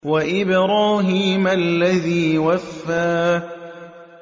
وَإِبْرَاهِيمَ الَّذِي وَفَّىٰ